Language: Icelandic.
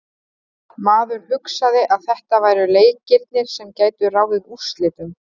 Maður hugsaði að þetta væru leikirnir sem gætu ráðið úrslitum.